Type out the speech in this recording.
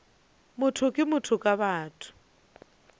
motho ke motho ka batho